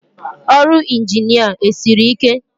Ọrụ Ịnjinịa esiri ike?